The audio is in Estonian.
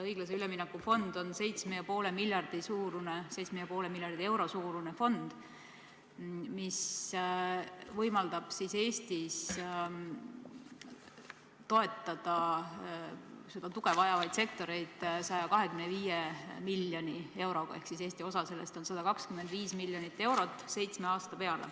Õiglase ülemineku fond on 7,5 miljardi euro suurune fond, mis võimaldab Eestis toetada tuge vajavaid sektoreid 125 miljoni euroga ehk Eesti osa sellest on 125 miljonit eurot seitsme aasta kohta.